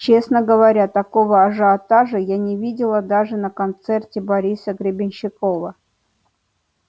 честно говоря такого ажиотажа я не видела даже на концерте бориса гребенщикова